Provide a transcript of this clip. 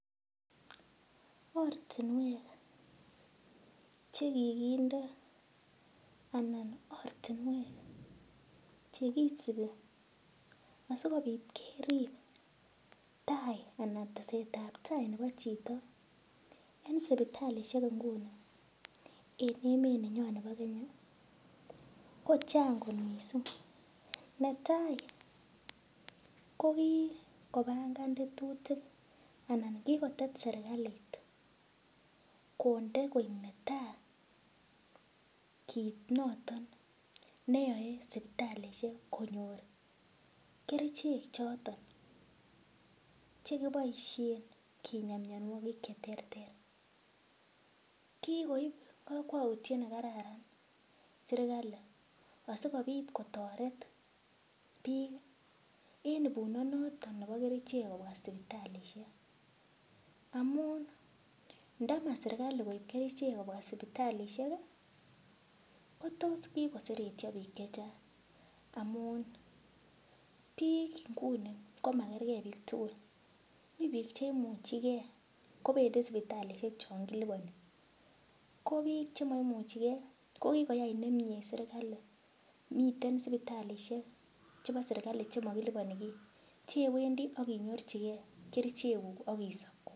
Ortinwek chekikinde anan ortinwek chekisipi asikopit kerip tai anan tesetai ap tai nepo chito eng sipitalishek inguni ing emet nenyoo nepo Kenya ko chang kot mising netai ko kikopangan tetutik anan kikotet serikalit konde koek netai kiit noton neoe sipitalishek konyor kerchek choton cheki poishen kinya mionwokik che terter kikoip kakwautiet nekararan serikali asikopit kotoret biik eng ibunot noton nepo kerichek kopa sipitalishek amun ndama serikali koip kerchek kopwa sipitalishek kotos kikoseretyo biik che chang amun biik nguni komakergei biik tugul mi biik cheimuchikei kopendi sipitalishek chon kilipani ko biik chemaimuchikei ko kikoyai nemie serikali miten sipitalishek chebo serikali chemakilipani kiy chewendi akinyorchike kerchekuk akisop